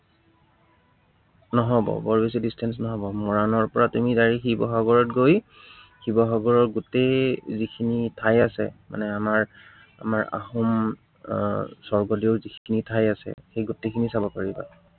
নহব। বৰ বেছি distance নহব। মৰাণৰ পৰা তুমি direct শিৱসাগৰত গৈ, শিৱসাগৰৰ গোটেই যিখিনি ঠাই আছে এৰ তাৰ মানে আমাৰ, আমাৰ আহোম এৰ স্বৰ্গদেউৰ যিখিনি ঠাই আছে, সেই গোটেই খিনি চাব পাৰিবা।